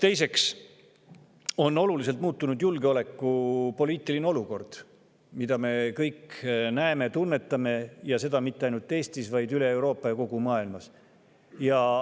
Teiseks on oluliselt muutunud julgeolekupoliitiline olukord – seda me kõik näeme ja tunnetame –, ja mitte ainult Eestis, vaid üle kogu Euroopa ja kogu maailmas.